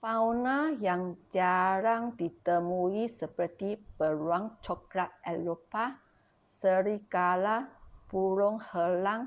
fauna yang jarang ditemui seperti beruang coklat eropah serigala burung helang